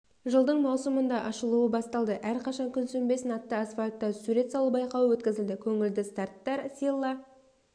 жылдың маусымында ашылуы басталды әрқашан күн сөнбесін атты асфальтта сурет салу байқауы өткізілді көңілді старттар силла